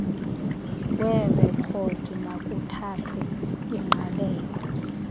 weerekhodi makuthathwe ingqalelo